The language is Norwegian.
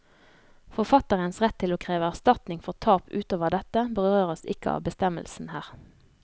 Forfatterens rett til å kreve erstatning for tap utover dette berøres ikke av bestemmelsen her.